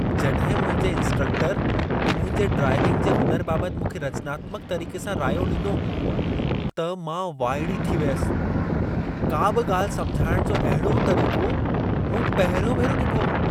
जॾहिं मुंहिंजे इन्स्ट्रकटर मुंहिंजे ड्राइविंग जे हुनर बाबत मूंखे रचनात्मक तरीक़े सां रायो ॾिनो, त मां वाइड़ी थी वियसि। का बि ॻाल्हि समिझाइण जो अहिड़ो तरीक़ो मूं पहिरियों भेरो ॾिठो हो।